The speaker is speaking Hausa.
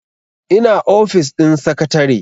ina ofis din sakatare